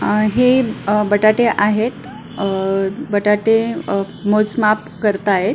अह हे अह बटाटे आहेत अह बटाटे अह मोज माप करताहेत.